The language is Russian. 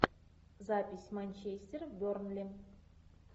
запись манчестер бернли